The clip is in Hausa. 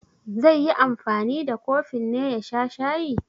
Zai yi anfani da kofin ne ya sha shayi?